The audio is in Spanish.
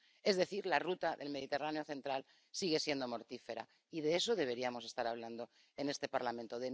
Es decir, la ruta del Mediterráneo central sigue siendo mortífera, y de eso deberíamos estar hablando en este Parlamento.